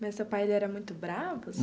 Mas seu pai ele era muito bravo?